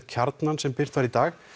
Kjarnans sem birt var í dag